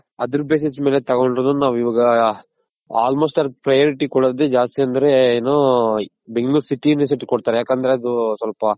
other basis ಮೇಲೆ ತಗೊಂಡ್ರು ನಾವ್ ಇವಾಗ almost ಅವ್ರಗ್ priority ಕೊಡೋದ್ ಜಾಸ್ತಿ ಅಂದ್ರೆ ಏನು bangalore city University ಕೊಡ್ತಾರ್ ಯಾಕಂದ್ರೆ ಅದು ಸ್ವಲ್ಪ